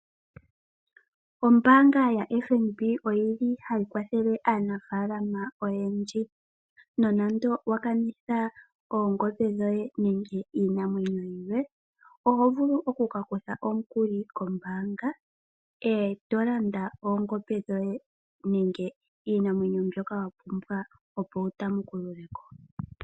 Ombaanga yaFNB oyili hayi kwathele aanafaalama oyendji. Uuna wa kanitha oongombe dhoye nenge iinamwenyo yoye oho vulu oku ka kutha omukuli kombaanga, to landa oongombe dhoye nenge iinamwenyo mbyoka wapumbwa opo wutamukulule ko.